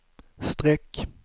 streck